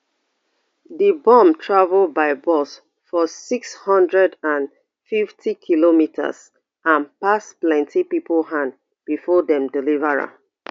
di bomb travel by bus for six hundred and fiftykm and pass plenti pipo hand bifor dem deliver am